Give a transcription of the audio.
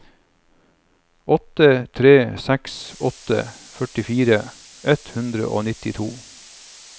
åtte tre seks åtte førtifire ett hundre og nittito